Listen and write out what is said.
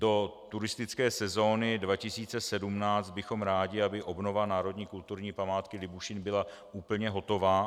Do turistické sezóny 2017 bychom rádi, aby obnova národní kulturní památky Libušín byla úplně hotová.